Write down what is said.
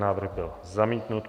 Návrh byl zamítnut.